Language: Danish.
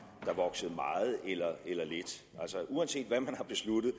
der voksede meget eller lidt uanset hvad man har besluttet